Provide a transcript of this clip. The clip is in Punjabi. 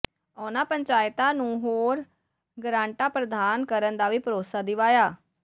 ਉਨ੍ਹਾਂ ਪੰਚਾਇਤਾਂ ਨੂੰ ਹੋਰ ਗਰਾਂਟਾਂ ਪ੍ਰਦਾਨ ਕਰਨ ਦਾ ਵੀ ਭਰੋਸਾ ਦਿਵਾਇਆ